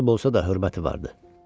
Kasıb olsa da hörməti vardı.